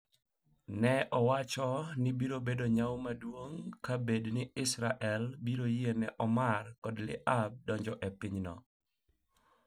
Ne owacho ni biro bet nyawo maduong' ka bed ni Israel biro yie ni Omar kod Tlaib donjo e pinyno